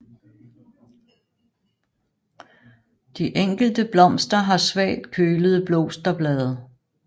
De enkelte blomster har svagt kølede blosterblade